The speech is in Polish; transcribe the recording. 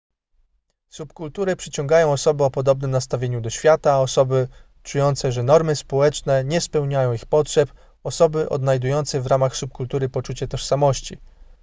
subkultury przyciągają osoby o podobnym nastawieniu do świata osoby czujące że normy społeczne nie spełniają ich potrzeb osoby odnajdujące w ramach subkultury poczucie tożsamości